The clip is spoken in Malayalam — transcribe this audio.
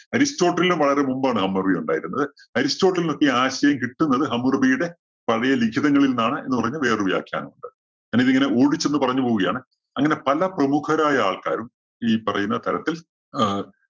അരിസ്റ്റോട്ടിലിനും വളരെ മുമ്പാണ് ഹമ്മുറബി ഉണ്ടായിരുന്നത്. അരിസ്റ്റോട്ടിലിനൊക്കെ ഈ ആശയം കിട്ടുന്നത് ഹമ്മുറബിയുടെ പഴയ ലിഖിതങ്ങളില്‍ നിന്നാണ് എന്ന് പറയുന്ന വേറൊരു വ്യാഖ്യാനം ഉണ്ട്. ഞാനിതിങ്ങനെ ഓടിച്ചൊന്ന് പറഞ്ഞു പോവുകയാണ്. അങ്ങനെ പല പ്രമുഖരായ ആള്‍ക്കാരും ഈ പറയുന്ന തരത്തില്‍ അഹ്